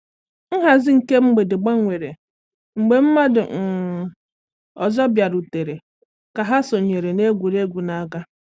Nhazi nke mgbede gbanwere mgbe mmadụ um ọzọ bịarutere ka ha sonyere n’egwuregwu na-aga.